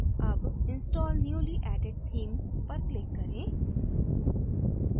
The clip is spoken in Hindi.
अब install newly added themes पर click करें